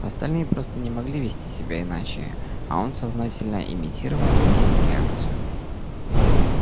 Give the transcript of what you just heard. остальные просто не могли вести себя иначе а он сознательно имитировал нужную реакцию